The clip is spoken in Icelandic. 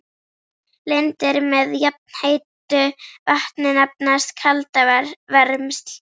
Lindir með jafnheitu vatni nefnast kaldavermsl.